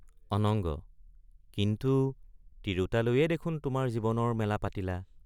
অনঙ্গ—কিন্তু তিৰোতা লৈয়েই দেখোন তোমাৰ জীৱনৰ মেলা পাতিলা?